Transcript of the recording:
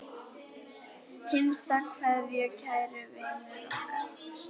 HINSTA KVEÐJA Kæri vinur okkar.